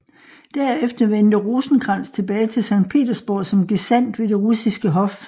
Derefter vendte Rosenkrantz tilbage til Sankt Petersborg som gesandt ved det russiske hof